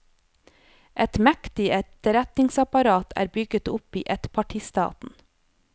Et mektig etterretningsapparat er bygget opp i ettpartistaten.